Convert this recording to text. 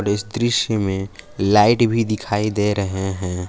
इस दृश्य में लाइट भी दिखाई दे रहे हैं।